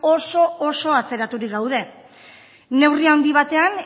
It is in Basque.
oso atzeraturik gaude neurri handi batean